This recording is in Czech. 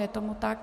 Je tomu tak.